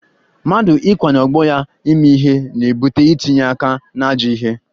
Mmadụ ikwanye ọgbọ ya ime ihe na-ebute itinye aka n'ajọ ihe